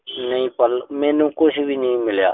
ਨਈਂ ਮੈਨੂੰ ਕੁਸ਼ ਵੀ ਨਹੀਂ ਮਿਲਿਆ।